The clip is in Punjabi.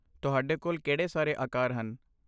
ਤੁਹਾਡੇ ਕੋਲ ਕਿਹੜੇ ਸਾਰੇ ਆਕਾਰ ਹਨ?